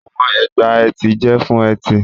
Àwọn ègbà etí jẹ́ fún etí.